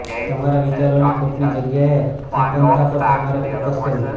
તમારા વિચારોની ખોટની જગ્યાએ સંપન્નતા પર તમારે ફોકસ કરવું